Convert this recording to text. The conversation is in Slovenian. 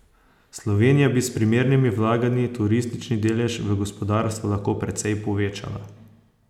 Slovenija bi s primernimi vlaganji turistični delež v gospodarstvu lahko precej povečala.